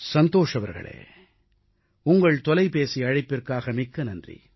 சந்தோஷ் அவர்களே உங்கள் தொலைபேசி அழைப்பிற்காக மிக்க நன்றி